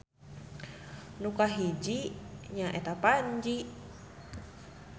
Nu kahiji nya eta Panji